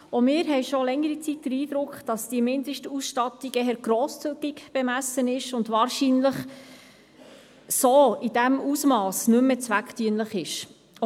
Auch wir haben seit längerer Zeit den Eindruck, dass die Mindestausstattungen grosszügig bemessen sind und wahrscheinlich in diesem Ausmass nicht mehr zweckdienlich sind.